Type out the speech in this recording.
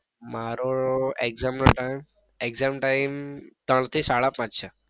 મારો exam નો time exam time ત્રણ થી સાડા પાંચ છે.